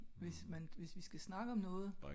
hvis man hvis vi skal snakke om noget